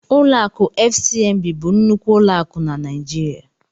Ụlọ akụ FCMB bụ nnukwu ụlọ akụ na Naijiria.